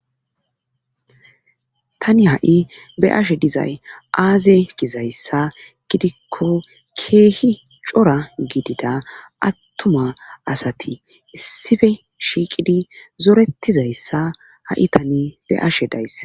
Tani ha7i be ashe dizay aaze gizayssa gidikko keehi cora gidida attuma asati issife shiiqidi zoretizayssa ha7i tani be ashe dayssa.